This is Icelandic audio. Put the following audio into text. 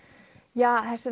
ja þessi